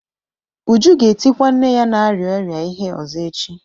Uju ga-etikwa nne ya na-arịa ọrịa ihe ọzọ echi.